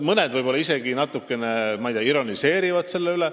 Mõned võib-olla isegi natukene ironiseerivad selle üle.